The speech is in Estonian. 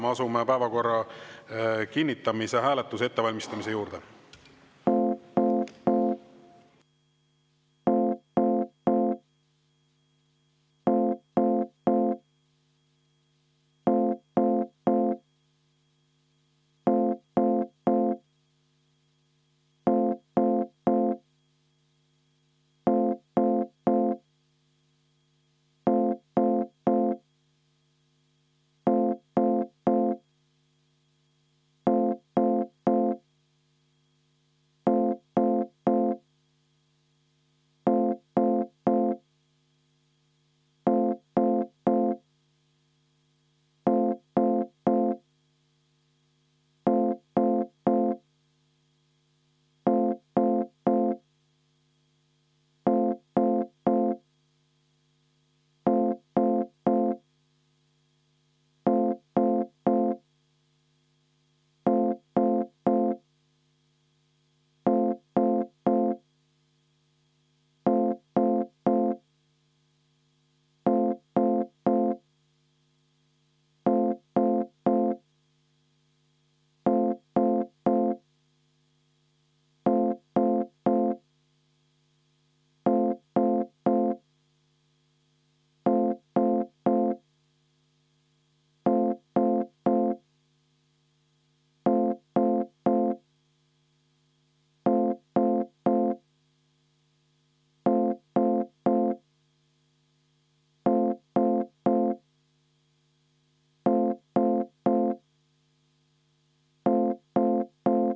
Me asume päevakorra kinnitamise hääletuse ettevalmistamise juurde.